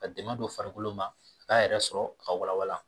Ka dɛmɛ don farikolo ma, a ka yɛrɛ sɔrɔ ka walawala.